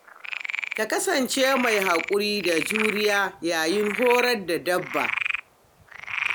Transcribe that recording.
Ka kasance mai haƙuri da juriya yayin horar da dabba.